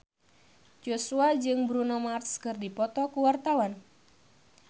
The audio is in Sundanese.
Joshua jeung Bruno Mars keur dipoto ku wartawan